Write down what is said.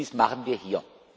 Dies machen wir hier.